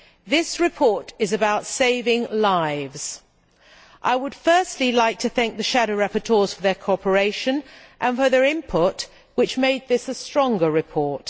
This report is about saving lives. I would firstly like to thank the shadow rapporteurs for their cooperation and for their input, which made this a stronger report.